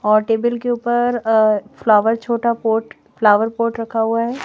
और टेबल के ऊपर फ्लावर छोटा पोर्ट फ्लावर पोर्ट रखा हुआ है।